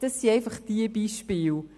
Das sind einfach ein paar Beispiele.